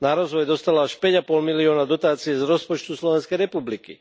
Na rozvoj dostala až päť a pol milióna dotácií z rozpočtu Slovenskej republiky.